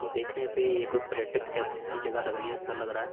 देखने पे ये कोई पर्यटक जैसे की जगह लग रही है सा लग रहा है